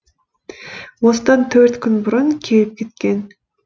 осыдан төрт күн бұрын келіп кеткен